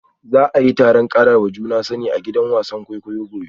Za a yi taron karawa juna sani a gidan wasan kwaikwayo gobe